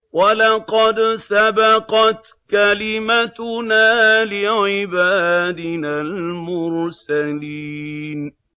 وَلَقَدْ سَبَقَتْ كَلِمَتُنَا لِعِبَادِنَا الْمُرْسَلِينَ